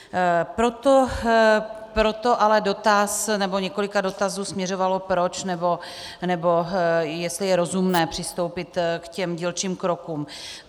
Proto ale dotaz, nebo několik dotazů směřovalo proč, nebo jestli je rozumné přistoupit k těm dílčím krokům.